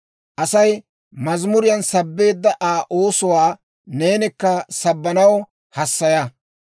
Asay mazamuriyaan sabbeedda Aa oosuwaa neenikka sabbanaw hassaya.